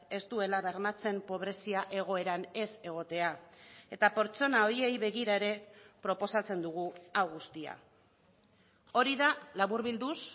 ez duela bermatzen pobrezia egoeran ez egotea eta pertsona horiei begira ere proposatzen dugu hau guztia hori da laburbilduz